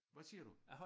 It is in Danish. Hvad siger du?